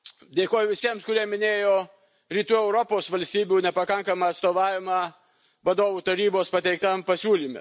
Dėkoju visiems, kurie minėjo Rytų Europos valstybių nepakankamą atstovavimą Vadovų Tarybos pateiktam pasiūlyme.